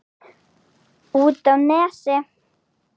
Út á Nesi?